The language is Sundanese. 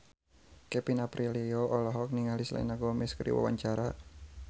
Kevin Aprilio olohok ningali Selena Gomez keur diwawancara